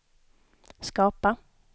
skapa